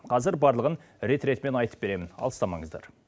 қазір барлығын рет ретімен айтып беремін алыстамаңыздар